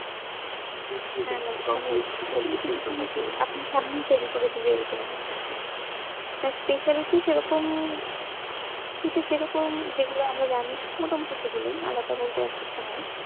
আপনার সামনেই তৈরী করে দিবে এরকম হচ্ছে না speciality সেরকম শীতে সেরকম যেগুলো আমরা জানি মোটামোটি সেগুলোই আলাদা বলতে আর কিছু নাই